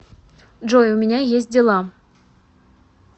джой у меня есть дела